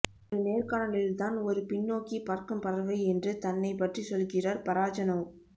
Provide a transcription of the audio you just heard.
ஒரு நேர்காணலில் தான் ஒரு பின்னோக்கி பறக்கும் பறவை என்று தன்னைப் பற்றி சொல்கிறார் பராஜனோவ்